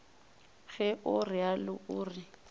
ge o realo o re